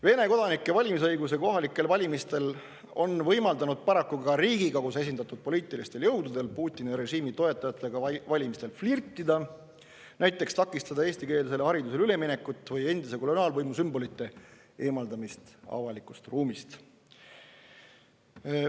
Vene kodanike valimisõigus kohalikel valimistel on paraku võimaldanud ka Riigikogus esindatud poliitilistel jõududel Putini režiimi toetajatega valimistel flirtida, näiteks takistades eestikeelsele haridusele üleminekut või endise koloniaalvõimu sümbolite eemaldamist avalikust ruumist.